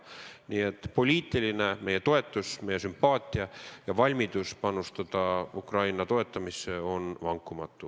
Aga meie poliitiline toetus, meie sümpaatia ja valmidus panustada Ukraina toetamisse on vankumatu.